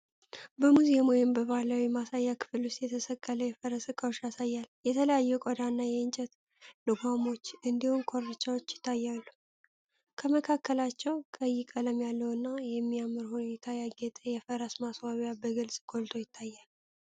በሙዚየም ወይም በባህላዊ ማሳያ ክፍል ውስጥ የተሰቀሉ የፈረስ እቃዎችን ያሳያል። የተለያዩ የቆዳና የእንጨት ልጓሞች እንዲሁም ኮርቻዎች ይታያሉ። ከመካከላቸው ቀይ ቀለም ያለውና በሚያምር ሁኔታ ያጌጠ የፈረስ ማስዋቢያ በግልጽ ጎልቶ ይታያል።